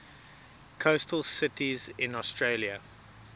coastal cities in australia